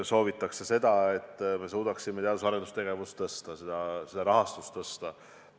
Soov on, et me suudaksime teadus- ja arendustegevuse rahastust tõsta.